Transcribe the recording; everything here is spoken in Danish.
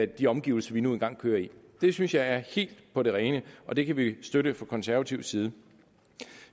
de omgivelser vi nu engang kører i det synes jeg er helt på det rene og det kan vi støtte fra konservativ side